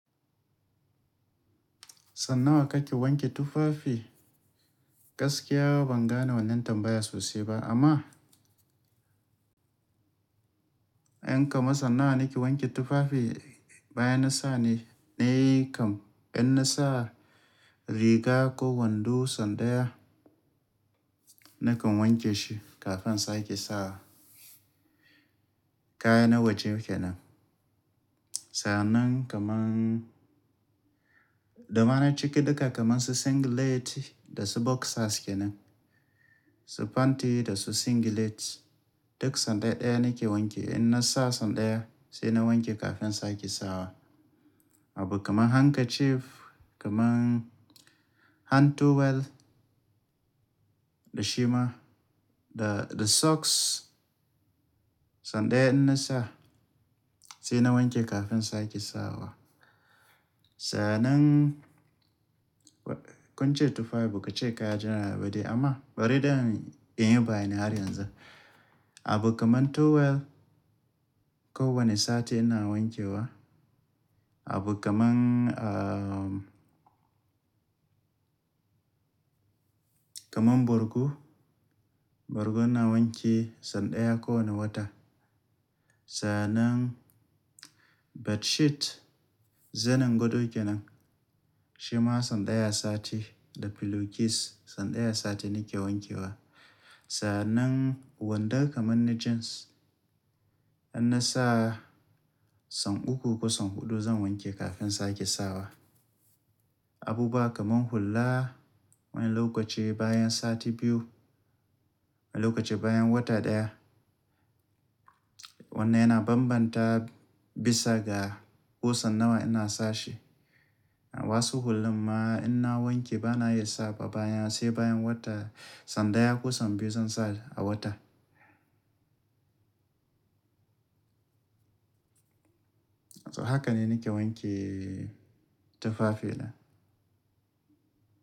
Sanna a kake wanke tufafi? Gaskiya ba zan gane wannan tambaya sosai ba amma, in ka masa nawa nake wanke tufafi bayan na sa ne, ne kam in na sa riga ko wando son daya nakan wanke shi kafin sake sawa. Kaya na waje kenan. Sannan kaman, domana cike duka kaman su singlet da su boxer kenan, su panty da su singlet duk sanda ɗaya nake wanke. In na sa son daya sai na wanke kafin sake sawa. Abu kaman handkerchief kaman hand towel da shima da, da socks sanda ya in na sa sai na wanke kafin sake sawa. Sannan kunce tufafi baku kaya general ba dai amma bari dan in yi bayanin har yanzu. Abu kaman towel ko wani sati ina wanke wa. Abu kaman, ah, kaman borgu, borgu ina wanke sanda ya ko wani wata. Sannan bedsheet zanin godo kenan shima sanda ya sati da pillowcase sanda ya sati nake wanke wa. Sannan wandon kaman na jeans in na sa, san uku ko san huɗu zan wanke kafin sake sawa. Abubuwa kaman hulla wani lokaci bayan sati biyu, wani lokaci bayan wata ɗaya. Wannan yana bambanta bisa ga kusan nawa ina sashi. Wasu hullan ma in na wanke bana iya sawa bayan sai bayan wata sanda ya ko san biyu zan sa a wata. Haka ne nake wanke tufafi na.